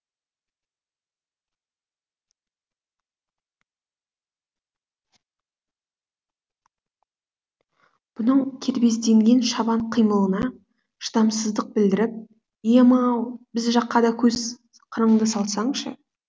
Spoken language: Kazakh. бұның кербезденген шабан қимылына шыдамсыздық білдіріп ием ау біз жаққа да көз қырыңды салсаңшы